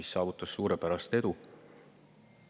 See saavutas suurepärast edu.